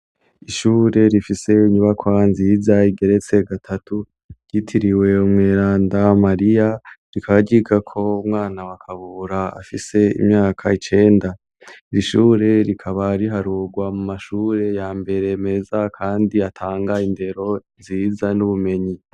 Ishure rifise inyubakwa nziza igeretse gatatu ryitiriwe umweranda Mariya rikaba ryigako umwana wa KABURA afise imyaka icenda, iri shure rikaba riharugwa mu mashure ya mbere meza kandi atanga indero nziza n'ubumenyi.